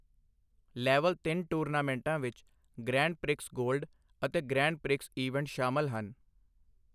Level ਤਿੰਨ ਟੂਰਨਾਮੈਂਟਾਂ ਵਿੱਚ ਗਰੈਂਡ ਪ੍ਰਿਕਸ ਗੋਲਡ ਅਤੇ ਗਰੈਂਡ ਪ੍ਰਿਕਸ ਈਵੈਂਟ ਸ਼ਾਮਲ ਹਨ।